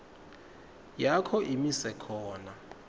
yakho imise khona